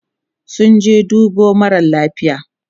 sun je sun dubo mara lafia